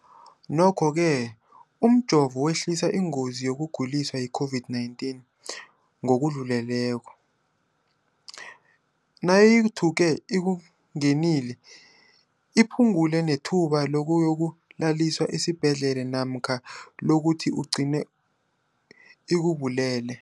Nokho-ke umjovo wehlisa ingozi yokuguliswa yi-COVID-19 ngokudluleleko, nayithuke ikungenile, iphu ngule nethuba lokuyokulaliswa esibhedlela namkha lokuthi igcine ikubulele.